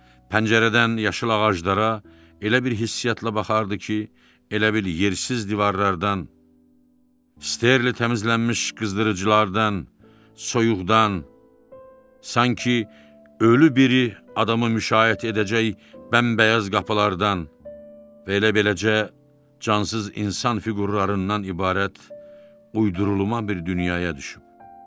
Pəncərədən yaşıl ağaclara elə bir hissiatla baxardı ki, elə bil yersiz divarlardan, sterlin təmizlənmiş qızdırıcılardan, soyuqdan, sanki ölü biri adamı müşayiət edəcək bəmbəyaz qapılardan və elə beləcə cansız insan fiqurlarından ibarət uydurulmuş bir dünyaya düşüb.